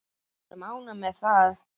Við erum ánægð með það.